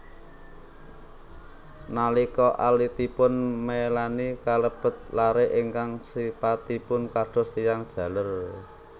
Nalika alitipun Melaney kalebet lare ingkang sipatipun kados tiyang jaler